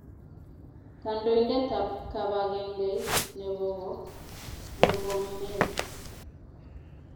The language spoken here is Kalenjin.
Kandoindet ab kibangengeit noto k0o Murkomen